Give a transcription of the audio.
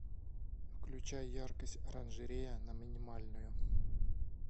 включай яркость оранжерея на минимальную